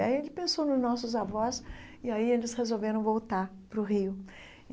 Aí ele pensou nos nossos avós, e aí eles resolveram voltar para o Rio.